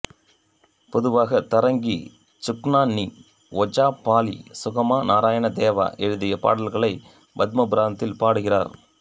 பொதுவாக தரங்கி சுக்னன்னி ஓஜாபாலி சுகமா நாராயணதேவா எழுதிய பாடல்களை பத்மபுராணத்தில் பாடுகிறார்